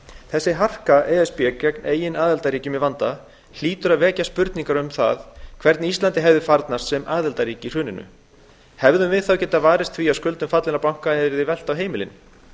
þessi harka e s b gegn eigin aðildarríkjum í vanda hlýtur að vekja spurningar um það hvernig íslandi hefði farnast sem aðildarríki í hruninu hefðum við þá getað varist því að skuldum fallinna banka yrði velt á heimilin